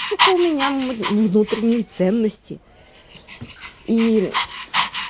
сука у меня внутренние ценности и